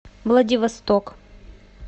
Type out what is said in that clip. владивосток